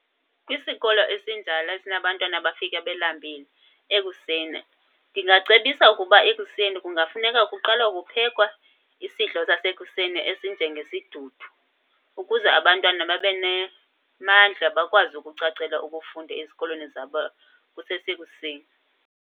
Kwisikolo esinjalo esinabantwana abafika belambile ekuseni, ndingacebisa ukuba ekuseni kungafuneka kuqala kuphekwa isidlo sasekuseni esinjengesidudu ukuze abantwana babe namandla, bakwazi ukucacela ukufunda ezikolweni zabo kusesekuseni.